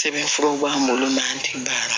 Sɛbɛnfuraw b'an bolo n'an tɛ baara la